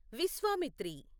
Vishwamitri